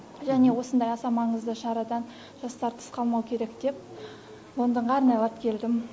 және осындай аса маңызды шарадан жастар тыс қалмау керек деп лондонға арнайлап келдім